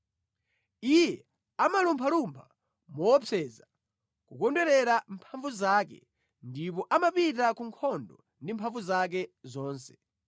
Iye amalumphalumpha moopseza, kukondwerera mphamvu zake, ndipo amapita ku nkhondo ndi mphamvu zake zonse.